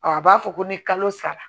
a b'a fɔ ko ni kalo sara